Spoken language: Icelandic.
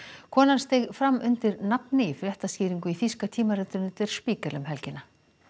konan steig fram undir nafni í fréttaskýringu í þýska tímaritinu der Spiegel um helgina